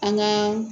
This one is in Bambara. An ka